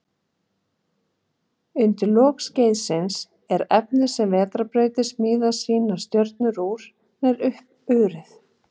Undir lok skeiðsins er efnið sem vetrarbrautir smíða sínar stjörnur úr, nær uppurið.